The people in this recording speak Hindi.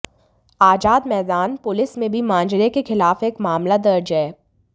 आजाद मैदान पुलिस में भी मांजरे के खिलाफ एक मामला दर्ज है